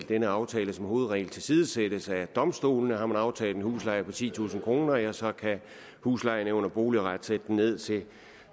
denne aftale som hovedregel tilsidesættes af domstolene har man aftalt en husleje på titusind kr ja så kan huslejenævnet og boligretten sætte den ned til